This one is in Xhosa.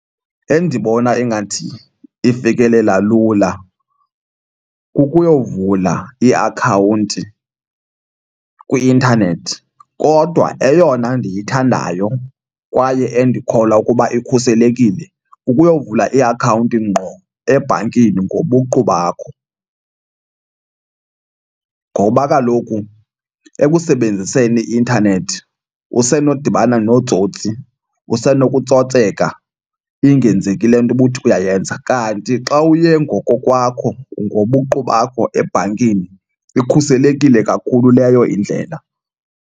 Endibona ingathi ifikelela lula kukuyovula iakhawunti kwi-intanethi kodwa eyona ndiyithandayo kwaye endikholwa ukuba ikhuselekile ukuyovula iakhawunti ngqo ebhankini ngobuqu bakho. Ngoba kaloku ekusebenziseni i-intanethi usenodibana nootsotsi, usenokutsotseka ingenzeki le nto ubuthi uyayenza. Kanti xa uye ngokokwakho, ngobuqu bakho ebhankini ikhuselekile kakhulu leyo indlela.